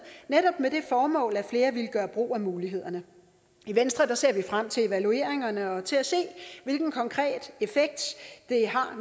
netop med det formål at flere ville gøre brug af mulighederne i venstre ser vi frem til evalueringerne og til at se hvilken konkret effekt det har